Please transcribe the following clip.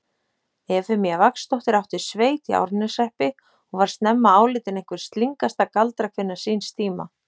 Efemía Vagnsdóttir átti sveit í Árneshreppi og var snemma álitin einhver slyngasta galdrakvinna síns tíma.